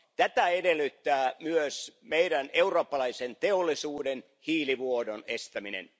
Tätä edellyttää myös eurooppalaisen teollisuuden hiilivuodon estäminen.